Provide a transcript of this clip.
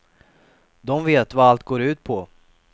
De vet vad allt går ut på.